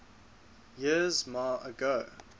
years ma ago